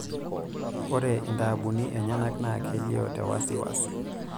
ore intabuani enyanak naa kelio te wasiwasi